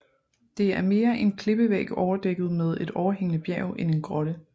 Det er mere en klippevæg overdækket med et overhængende bjerg end en grotte